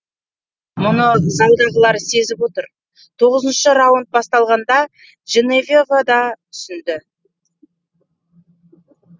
мұны залдағылар сезіп отыр тоғызыншы раунд басталғанда дженевьева да түсінді